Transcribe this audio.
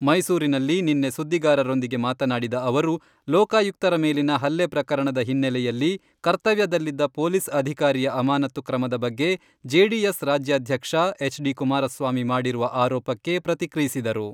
ಮೈಸೂರಿನಲ್ಲಿ ನಿನ್ನೆ ಸುದ್ದಿಗಾರರೊಂದಿಗೆ ಮಾತನಾಡಿದ ಅವರು , ಲೋಕಾಯುಕ್ತರ ಮೇಲಿನ ಹಲ್ಲೆ ಪ್ರಕರಣದ ಹಿನ್ನೆಲೆಯಲ್ಲಿ ಕರ್ತವ್ಯದಲ್ಲಿದ್ದ ಪೊಲೀಸ್ ಅಧಿಕಾರಿಯ ಅಮಾನತ್ತು ಕ್ರಮದ ಬಗ್ಗೆ ಜೆಡಿಎಸ್ ರಾಜ್ಯಾಧ್ಯಕ್ಷ ಎಚ್.ಡಿ.ಕುಮಾರಸ್ವಾಮಿ ಮಾಡಿರುವ ಆರೋಪಕ್ಕೆ ಪ್ರತಿಕ್ರಿಯಿಸಿದರು.